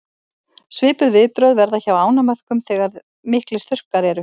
svipuð viðbrögð verða hjá ánamöðkum þegar miklir þurrkar eru